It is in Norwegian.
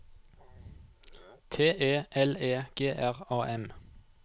T E L E G R A M